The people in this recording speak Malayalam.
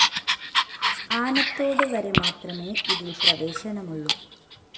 ആനത്തോട് വരെമാത്രമേ ഇതില്‍ പ്രവേശനമൊള്ളു